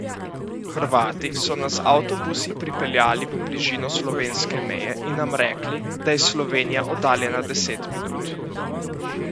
Hrvati so nas z avtobusi pripeljali v bližino slovenske meje in nam rekli, da je Slovenija oddaljena deset minut.